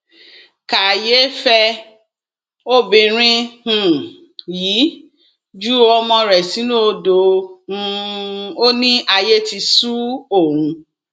kàyééfẹ obìnrin um yìí ju ọmọ rẹ sínú odò um ó ní ayé ti sún òun